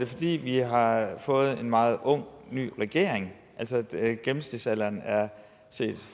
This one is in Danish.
fordi vi har fået en meget ung ny regering gennemsnitsalderen er set